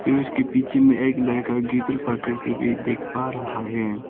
और उसके पीछे में एक लड़का गिटर पकड़ के भी दिख पा रखा है।